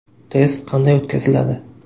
Test qanday o‘tkaziladi?